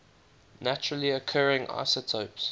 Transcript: naturally occurring isotopes